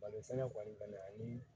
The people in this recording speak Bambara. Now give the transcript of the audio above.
Balo sɛnɛ kɔni bɛnnen ani